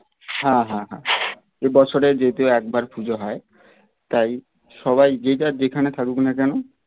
হ্যাঁ হ্যাঁ হ্যাঁ এ বছরে যেহেতু একবার পুজো হয় তাই সবাই যে যার যেখানে থাকুক না কোনো